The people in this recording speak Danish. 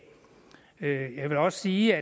jeg vil også sige